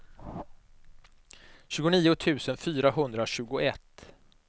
tjugonio tusen fyrahundratjugoett